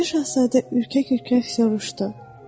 Balaca şahzadə ürkək-ürkək soruşdu.